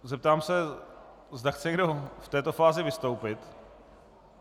Zeptám se, zda chce někdo v této fázi vystoupit.